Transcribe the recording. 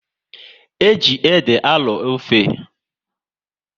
E ji ede a arọ ofe